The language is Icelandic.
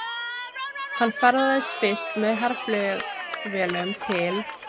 Hann ferðaðist fyrst með herflugvélum til